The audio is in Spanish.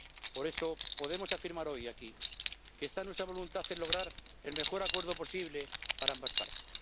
Por eso, podemos afirmar hoy aquí que está en nuestra voluntad lograr el mejor acuerdo posible para ambas partes.